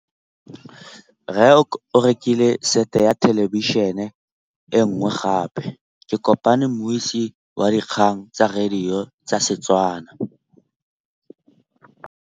Rre o rekile sete ya thêlêbišênê e nngwe gape. Ke kopane mmuisi w dikgang tsa radio tsa Setswana.